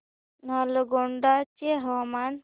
नालगोंडा चे हवामान